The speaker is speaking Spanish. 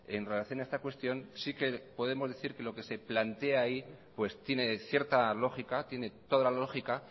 en relación a esta cuestión sí que podemos decir que lo que se plantea ahí pues tiene cierta lógica tiene toda la lógica